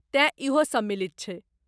तेँ इहो सम्मिलित छै।